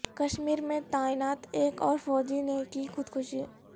کشمیر میں تعینات ایک اور فوجی نے کی خودکشی